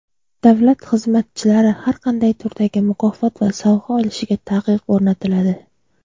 Davlat xizmatchilari har qanday turdagi mukofot va sovg‘a olishiga taqiq o‘rnatiladi.